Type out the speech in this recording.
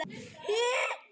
Hún slær aldrei slöku við.